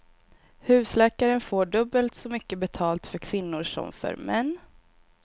Husläkaren får dubbbelt så mycket betalt för kvinnor som för män.